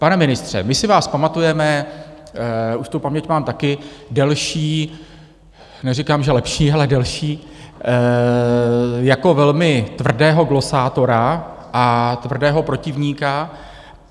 Pane ministře, my si vás pamatujeme - už tu paměť mám taky delší, neříkám, že lepší, ale delší - jako velmi tvrdého glosátora a tvrdého protivníka.